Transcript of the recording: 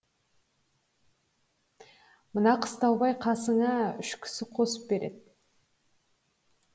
мына қыстаубай қасыңа үш кісі қосып береді